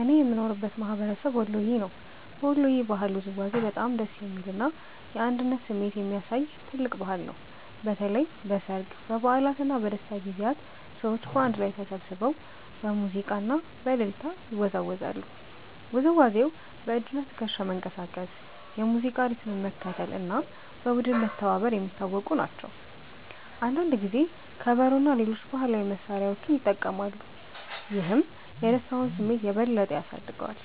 እኔ የምኖርበት ማህበረሰብ ወሎየ ነው። በወሎ ባህላዊ ውዝዋዜ በጣም ደስ የሚል እና የአንድነት ስሜት የሚያሳይ ትልቅ ባህል ነው። በተለይ በሠርግ፣ በበዓላት እና በደስታ ጊዜያት ሰዎች በአንድ ላይ ተሰብስበው በሙዚቃ እና በእልልታ ይወዛወዛሉ። ውዝዋዜው በእጅና ትከሻ መንቀሳቀስ፣ የሙዚቃ ሪትም መከተል እና በቡድን መተባበር የሚታወቁ ናቸው። አንዳንድ ጊዜ ከበሮ እና ሌሎች ባህላዊ መሳሪያዎች ይጠቀማሉ፣ ይህም የደስታውን ስሜት የበለጠ ያሳድገዋል።